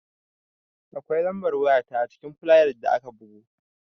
Akwai lambar waya ta ajikin fulayar da aka bugo